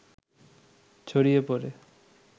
ছড়িয়ে পড়ে